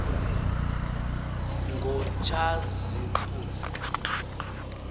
ngotshazimpunzi